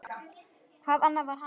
Hvað annað var hægt?